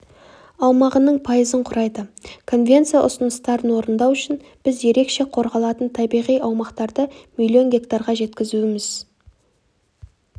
аумағының пайызын құрайды конвенция ұсыныстарын орындау үшін біз ерекше қорғалатын табиғи аумақтарды миллион гектарға жеткізуіміз